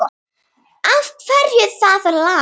Af hverju það lag?